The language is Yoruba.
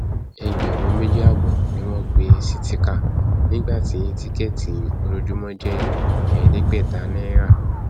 ẹgbẹrún méjì ààbọ ni wọn pè sítìkà nígbà tí tíkẹẹtì ojoojúmọ jẹ ẹẹdẹgbẹta náírà